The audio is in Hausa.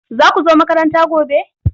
Za ku zo makaranta gobe?